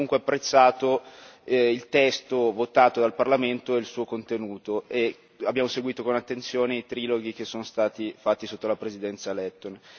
Abbiamo comunque apprezzato il testo votato dal Parlamento e il suo contenuto e abbiamo seguito con attenzione i triloghi che sono stati fatti sotto la Presidenza lettone.